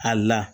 A la